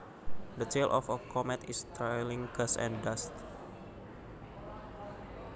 The tail of a comet is trailing gas and dust